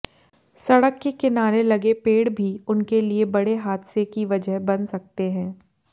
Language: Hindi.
सड़क के किनारे लगे पेड़ भी उनके लिये बड़े हादसे की वजह बन सकते हैं